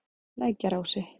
Lækjarási